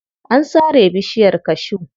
An sare bishiyar cashew.